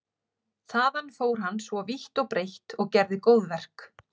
Þaðan fór hann svo vítt og breitt og gerði góðverk.